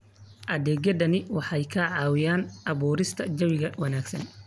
Adeegyadani waxay caawiyaan abuurista jawi wanaagsan.